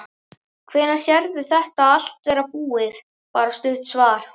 Hvenær sérðu þetta allt vera búið, bara stutt svar?